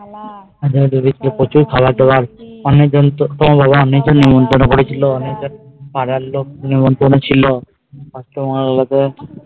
প্রচুর খাওয়ার দেওয়ার অনেক জন কে নিমন্তন্ন করেছিল পাড়ার লোক নিমন্তন্ন ছিল